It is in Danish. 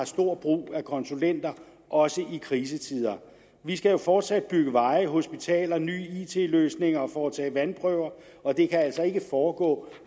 stor brug af konsulenter også i krisetider vi skal jo fortsat bygge veje hospitaler nye it løsninger og foretage vandprøver og det kan altså ikke foregå